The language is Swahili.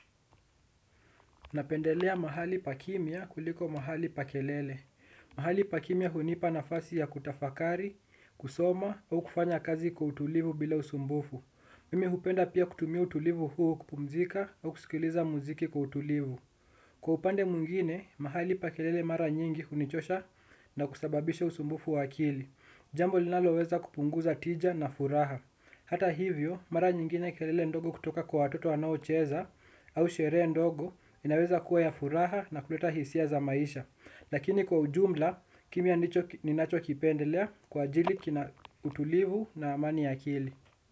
Napendelea mahali pa kimya kuliko mahali pa kelele. Mahali pa kimya hunipa nafasi ya kutafakari, kusoma, au kufanya kazi kwa utulivu bila usumbufu. Mimi hupenda pia kutumia utulivu huu kupumzika au kusikiliza muziki kwa utulivu. Kwa upande mwingine, mahali pa kelele mara nyingi hunichosha na kusababisha usumbufu wa akili. Jambo linaloweza kupunguza tija na furaha hata hivyo mara nyingine kelele ndogo kutoka kwa watoto wanaocheza au sherehe ndogo inaweza kuwa ya furaha na kuleta hisia za maisha. Lakini kwa ujumla kimya ndicho ninachokipendelea kwa ajili kina utulivu na amani ya akili.